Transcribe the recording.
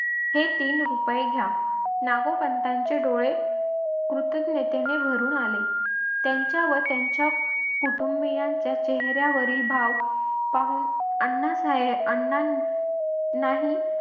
हे तीन रुपये घ्या नागोपंतांचे डोळे कृतज्ञतेने भरून आले. त्यांच्या व त्यांच्या कुटुंबीयांच्या चेहर्‍यावरील भाव पाहून अण्णासाहेबांनी अण्णानी नाही